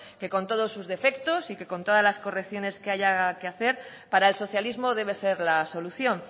que con todos sus defectos y con todas las correcciones que haya que hacer para el socialismo debe ser la solución